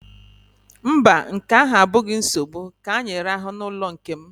Mba, nke ahụ abụghị nsogbu, ka anyị rahụ n'ọnụụlọ nke m